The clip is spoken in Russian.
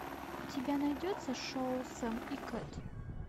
у тебя найдется шоу сэм и кэт